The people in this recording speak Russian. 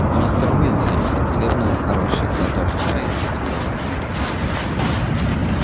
мистер уизли отхлебнул хороший глоток чаю и вздохнул